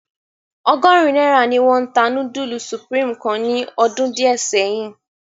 Ọgọrin naira ni wọn ta nudulu Supreme kan ni ọdun diẹ sẹyin.